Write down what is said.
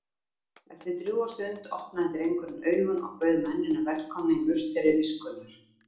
Eftir drjúga stund opnaði drengurinn augun og bauð mennina velkomna í musteri viskunnar.